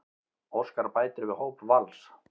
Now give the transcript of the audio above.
Óskar bætir við hóp Vals